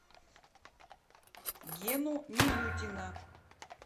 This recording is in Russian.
гену милютина